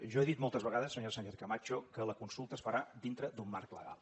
jo he dit moltes vegades senyora sánchez camacho que la consulta es farà dintre d’un marc legal